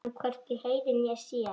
Hann hvorki heyrir né sér.